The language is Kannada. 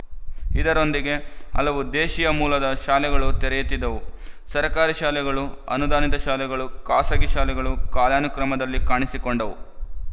ಇದರೊಂದಿಗೆ ಹಲವು ದೇಶೀಯ ಮೂಲದ ಶಾಲೆಗಳೂ ತಲೆಯೆತ್ತಿದವು ಸರಕಾರಿ ಶಾಲೆಗಳು ಅನುದಾನಿತ ಶಾಲೆಗಳು ಖಾಸಗಿ ಶಾಲೆಗಳು ಕಾಲಾನುಕ್ರಮದಲ್ಲಿ ಕಾಣಿಸಿಕೊಂಡವು